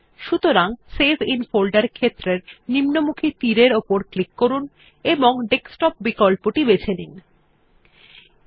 সুতরাং save in ফোল্ডের ক্ষেত্রের নিম্নমুখী তীর এর উপর ক্লিক করুন এবং ডেস্কটপ বিকল্পটির উপর ক্লিক করুন